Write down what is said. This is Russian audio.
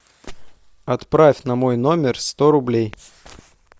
отправь на мой номер сто рублей